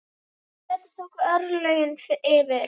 Þar tóku örlögin yfir.